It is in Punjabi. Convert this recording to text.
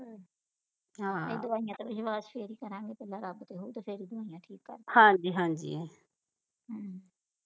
ਇਹ ਦਵਾਈਆਂ ਤੇ ਵਿਸ਼ਵਾਸ ਫਿਰ ਹੀ ਕਰਾਂਗੇ ਪਹਿਲਾਂ ਰੱਬ ਤੇ ਹੋ ਜਾਏ ਫਿਰ ਹੀ ਹੋਣੀਆਂ ਠੀਕ ਹਮ